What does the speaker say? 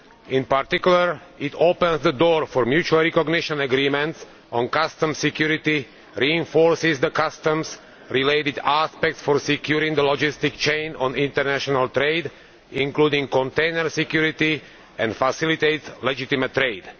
In particular it opens the door to mutual recognition agreements on customs security, reinforces the customs related aspects for securing the logistics chain on international trade including container security, and facilitates legitimate trade.